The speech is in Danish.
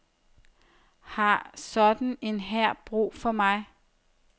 Har sådan en hær brug for mig?